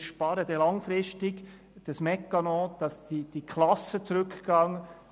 Wir sparen langfristig, indem die Klassenzahlen zurückgehen.